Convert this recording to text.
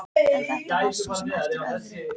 En þetta var svo sem eftir öðru.